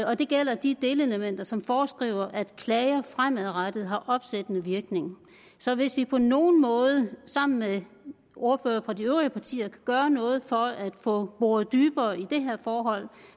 og det gælder de delelementer som foreskriver at klager fremadrettet har opsættende virkning så hvis vi på nogen måde sammen med ordførerne fra de øvrige partier kan gøre noget for at få boret dybere i det her forhold